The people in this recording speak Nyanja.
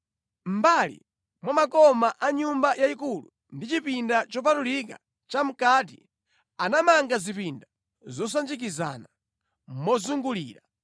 Mʼmbali mwa makoma a Nyumba yayikulu ndi chipinda chopatulika chamʼkati, anamanga zipinda zosanjikizana, mozungulira.